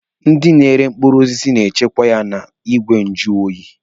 Ndị na-ere mkpụrụ osisi na-echekwa ya n'igwe nju oyi.